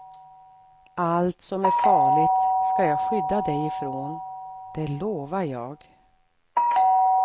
Allt som är farligt ska jag skydda dig ifrån, det lovar jag.